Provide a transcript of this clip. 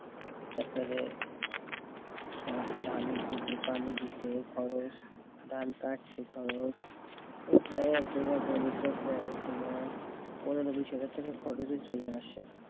তারপরে ধানের ভুইতে পানি দিতে খরচ, ধান কাটতে খরচ এরপরে এক বিঘা জমিতে প্রায় তোমার পনেরো বিশ হাজার টাকা খরচে চলে আসে।